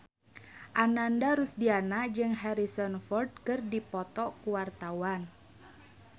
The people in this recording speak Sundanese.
Ananda Rusdiana jeung Harrison Ford keur dipoto ku wartawan